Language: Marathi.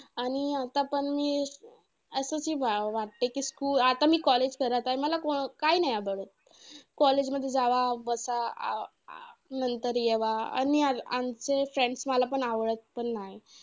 आणि आता पण हे असं कि वाटते कि, मी आता college करत आहे. मला काय नाही आता college मध्ये जावा बसा. अं अं नंतर येवा आणि आमचे friends मला पण आवडत पण नाही.